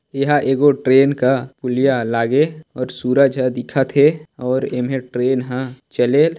यहाँ एको ट्रेन का हुलाया लागे और सूरज ह दिखत हे और इम हे ट्रेन ह चलेल--